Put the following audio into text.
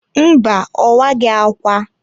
Mba, owaghi ákwà.